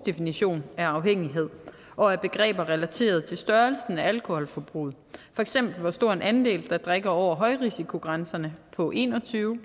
definition af afhængighed og af begreber relateret til størrelsen af alkoholforbrug for eksempel hvor stor en andel der drikker over højrisikogrænserne på en og tyve